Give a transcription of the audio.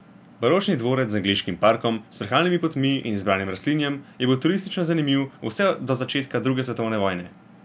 Baročni dvorec z angleškim parkom, sprehajalnimi potmi in izbranim rastlinjem je bil turistično zanimiv vse do začetka druge svetovne vojne.